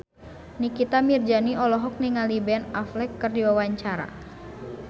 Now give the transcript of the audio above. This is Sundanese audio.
Nikita Mirzani olohok ningali Ben Affleck keur diwawancara